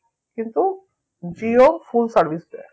কিন্তু Jio full service দেয়